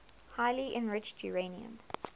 highly enriched uranium